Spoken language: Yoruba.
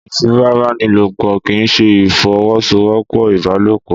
Ìfipábánilòpọ̀ kì í ṣe ìfọwọ́sowọ́pọ̀ ìbálòpọ̀.